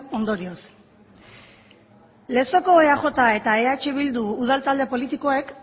ondorioz lezoko eaj eta eh bildu udal talde politikoek